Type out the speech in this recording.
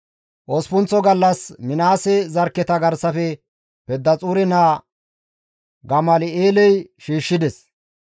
Osppunththa gallas Minaase zarkketa garsafe Pedaxuure naa Gamal7eeley shiishshides.